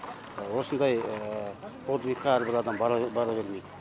осындай подвигка әрбір адам бара бер бара бермейді